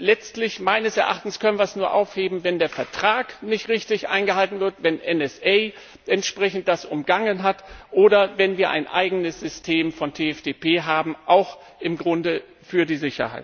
Letztlich können wir es meines Erachtens nur aufheben, wenn der Vertrag nicht richtig eingehalten wird, wenn NSA das entsprechend umgangen hat oder wenn wir ein eigenes System von TFTP haben, auch im Grunde für die